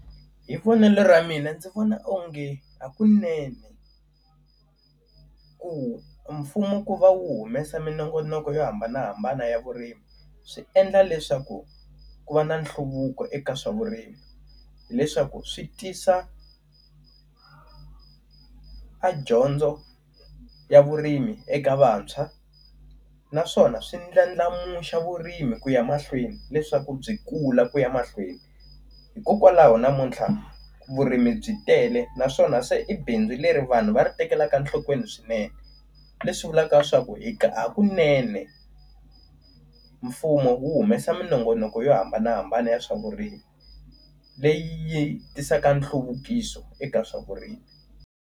Hi vonelo ra mina ndzi vona onge hakunene, ku mfumo ku va wu humesa minongonoko yo hambanahambana ya vurimi swi endla leswaku ku va na nhluvuko eka swa vurimi. Hileswaku swi tisa a dyondzo ya vurimi eka vantshwa naswona swi ndlandlamuxa vurimi ku ya mahlweni leswaku byi kula ku ya mahlweni. Hikokwalaho namuntlha vurimi byi tele naswona se i bindzu leri vanhu va ri tekelaka nhlokweni swinene. Leswi vulaka swa ku hakunene mfumo wu humesa minongonoko yo hambanahambana ya swa vurimi, leyi yi tisaka nhluvukiso eka swa vurimi.